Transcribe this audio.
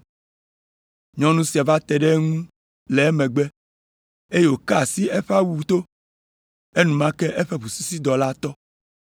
Nyɔnu sia va te ɖe eŋu le emegbe, eye wòka asi eƒe awu to, enumake eƒe ʋusisidɔ la tɔ.